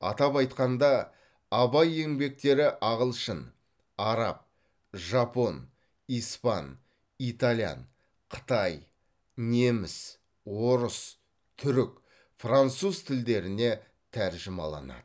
атап айтқанда абай еңбектері ағылшын араб жапон испан итальян қытай неміс орыс түрік француз тілдеріне тәржімаланады